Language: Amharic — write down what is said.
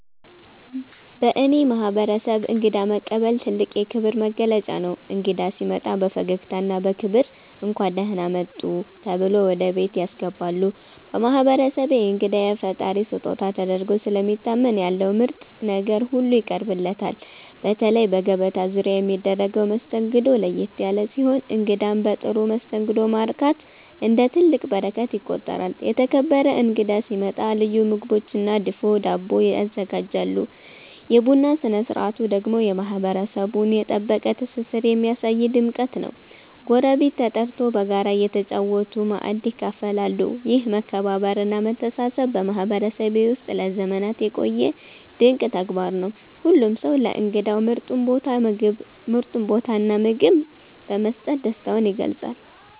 በእኔ ማህበረሰብ እንግዳ መቀበል ትልቅ የክብር መገለጫ ነው። እንግዳ ሲመጣ በፈገግታና በክብር “እንኳን ደህና መጡ” ተብሎ ወደ ቤት ያስገባሉ። በማህበረሰቤ እንግዳ የፈጣሪ ስጦታ ተደርጎ ስለሚታመን ያለው ምርጥ ነገር ሁሉ ይቀርብለታል። በተለይ በገበታ ዙሪያ የሚደረገው መስተንግዶ ለየት ያለ ሲሆን እንግዳን በጥሩ መስተንግዶ ማርካት እንደ ትልቅ በረከት ይቆጠራል። የተከበረ እንግዳ ሲመጣ ልዩ ምግቦችና ድፎ ዳቦ ይዘጋጃሉ። የቡና ስነ ስርዓቱ ደግሞ የማህበረሰቡን የጠበቀ ትስስር የሚያሳይ ድምቀት ነው፤ ጎረቤት ተጠርቶ በጋራ እየተጨዋወቱ ማእድ ይካፈላሉ። ይህ መከባበርና መተሳሰብ በማህበረሰቤ ውስጥ ለዘመናት የቆየ ድንቅ ተግባር ነው። ሁሉም ሰው ለእንግዳው ምርጡን ቦታና ምግብ በመስጠት ደስታውን ይገልጻል።